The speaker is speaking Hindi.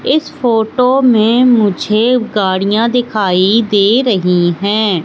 इस फोटो में मुझे गाड़ियाँ दिखाई दे रही है।